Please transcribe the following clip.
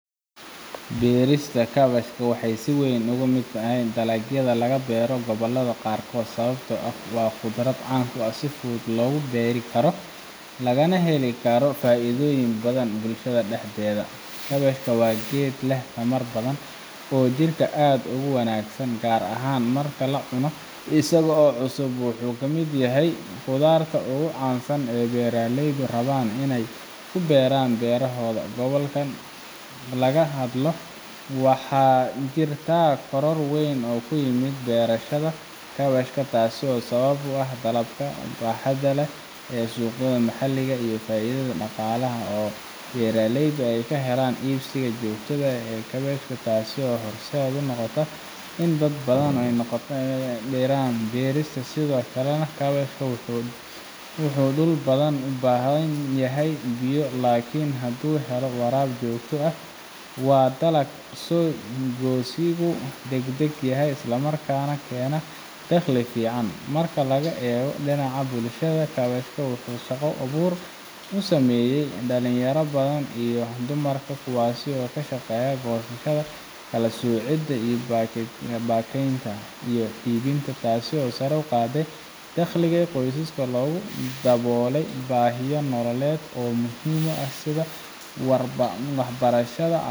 beerista kaabashka waxay si weyn uga mid tahay dalagyada laga beero gobollada qaarkood sababtoo ah waa khudrad caan ah oo si fudud loo beeri karo lagana heli karo faa’iidooyin badan bulshada dhexdeeda kaabashka waa geed leh tamar badan oo jidhka aad ugu wanaagsan gaar ahaan marka la cuno isagoo cusub wuxuuna kamid yahay khudaarta ugu caansan ee ay beeraleydu rabaan in ay ku beeraan beerahooda gobolkayga marka laga hadlo waxaa jirta koror weyn oo ku yimid beerashada kaabashka taasoo sabab u ah dalabka baaxadda leh ee suuqyada maxalliga ah iyo faa’iidada dhaqaalaha oo ay beeraleydu ka helaan iibsiga joogtada ah ee kaabashka taasoo horseed u noqotay in dad badan ay ku dhiiradaan beertiisa sidoo kale kaabashka wuxuu dhul badan u baahan yahay biyo laakin hadduu helo waraab joogto ah waa dalag soo go’giisu degdeg yahay islamarkaana keena dakhli fiican marka laga eego dhinaca bulshada kaabashka wuxuu shaqo abuur u sameeyey dhalinyaro badan iyo dumarka kuwaas oo ka shaqeeya goosashada, kala soocidda, baakadaynta iyo iibinta taas oo sare u qaaday dakhliga qoysaska laguna daboolay baahiyo nololeed oo muhiim ah sida waxbarashada